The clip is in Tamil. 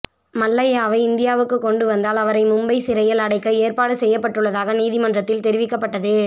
மல்லையாவை இந்தியாவுக்கு கொண்டு வந்தால் அவரை மும்பை சிறையில் அடைக்க ஏற்பாடு செய்யப்பட்டுள்ளதாக நீதிமன்றத்தில் தெரிவிக்கப்பட்டது